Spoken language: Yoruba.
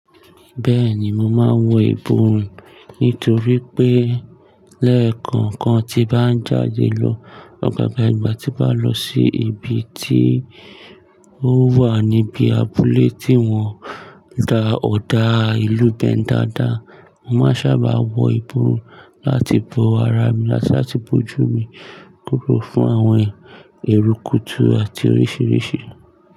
Bẹ́ẹ̀ni, mo máa ń wọ ìbùrùn nítorí pé lẹ́ẹ̀kan kan ti bá ń jáde lọ, ọ̀gọ̀gọ̀ ìgbà tí bá lọ sí ibi tí ó wà níbi abúlé tí wọ́n da ọ̀dà ìlú bẹ̀ dáadáa, mo máa sábà wọ ìbùrùn láti bo ara mi àti láti bojú mi kúrò fún àwọn èrù, kútù àti oríṣìíríṣìí.